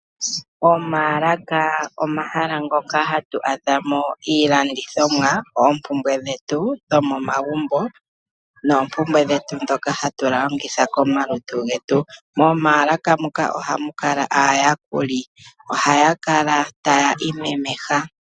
Omaalaka omahala ngoka hatu adha mo iilandithomwa, oompumbwe dhetu dhomomagumbo, noompumbwe dhetu ndhoka hatu longitha komalutu getu. Komaalaka muka ohamu kala aayakuli. Ohaya kala taya imemeha.